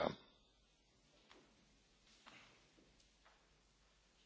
Bardzo dziękuję Panu Posłowi za to pytanie.